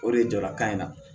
O de ye jɔlakan in na